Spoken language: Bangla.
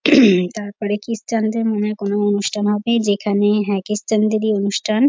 তারপরে ক্রিশ্চান দের মানে কোনো অনুষ্ঠান হবে যেখানে হ্যাঁ ক্রিশ্চান দেরই অনুষ্ঠান।